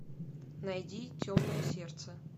найди темное сердце